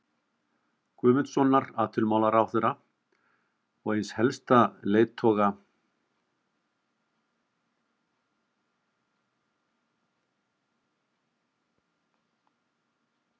Guðmundssonar, atvinnumálaráðherra og eins helsta leiðtoga